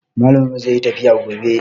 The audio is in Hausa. Malamin mu zai yi tafiya gobe